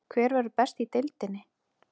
Hver verður best í deildinni?